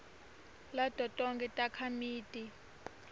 lato tonkhe takhamiti